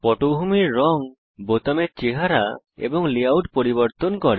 পটভূমির রং বোতামের চেহারা এবং লেআউট পরিবর্তন করে